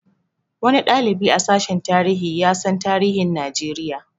Wani ɗalibi a sashen tarihi ya san tarihin Najeriya